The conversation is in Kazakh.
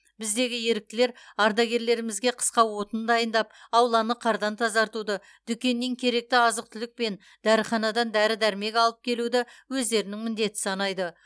біздегі еріктілер ардагерлерімізге қысқа отын дайындап ауланы қардан тазартуды дүкеннен керекті азық түлік пен дәріханадан дәрі дәрмек алып келуді өздерінің міндеті санайды